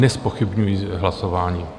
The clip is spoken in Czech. Nezpochybňuji hlasování.